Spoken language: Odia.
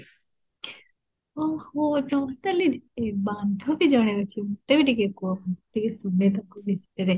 ଓହୋ ତମର ତା'ହେଲେ ଏ ବାନ୍ଧବୀ ଜଣେ ଅଛି ମତେ ବି ଟିକେ କୁହ ମୁଁ ବି ଶୁଣେ ତାକୁ ଦେଖେ